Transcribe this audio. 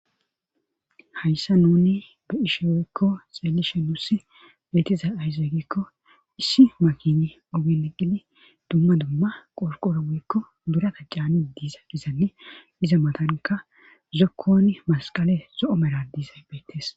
hayssa nuni be ishe woykko xeelishe nussi beetiza ayzeygikko issi makine ogen eqqili dumma dumma qorqora woyikko birata caani diza izali iza matanka zokkon masqale zo7o meradiza beettes